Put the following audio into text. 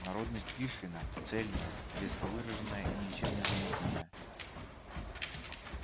народность пришвина цельная резко выраженная и ничем не замутнённая